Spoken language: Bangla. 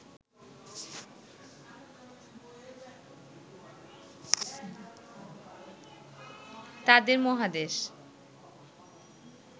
তাদের মহাদেশ